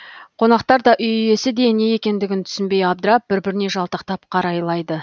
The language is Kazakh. қонақтар да үй иесі де не екендігін түсінбей абдырап бір біріне жалтақтап қарайлады